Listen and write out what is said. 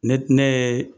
Ne ne ye